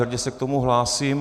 Hrdě se k tomu hlásím.